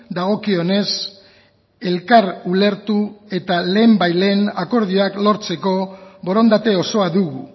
dagokionez elkar ulertu eta lehen bait lehen akordioak lortzeko borondate osoa dugu